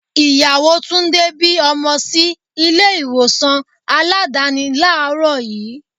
Ìyàwó Túndé bí ọmọ sí ilé ìwòsàn Aládàáni làárọ̀ yii.